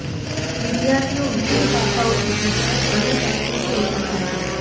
વિદ્યાર્થીઓ વિવિધ ભાષાઓ શીખે છે અને અન્ય સંસ્કૃતિઓ સમજે છે